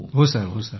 हो सर ।